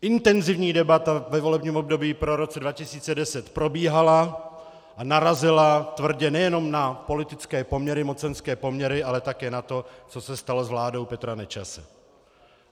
Intenzivní debata ve volebním období po roce 2010 probíhala a narazila tvrdě nejenom na politické poměry, mocenské poměry, ale také na to, co se stalo s vládou Petra Nečase.